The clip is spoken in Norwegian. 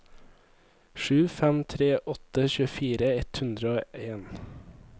sju fem tre åtte tjuefire ett hundre og en